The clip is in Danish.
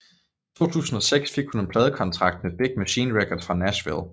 I 2006 fik hun en pladekontrakt med Big Machine Records fra Nashville